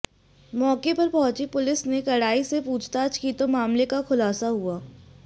मौके पर पहुंची पुलिस ने कड़ाई से पूछताछ की तो मामले का खुलासा हुआ